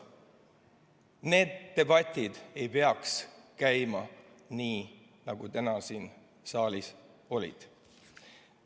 Need debatid ei peaks käima nii, nagu need täna siin saalis olid.